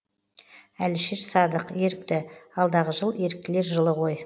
әлішер садық ерікті алдағы жыл еріктілер жылы ғой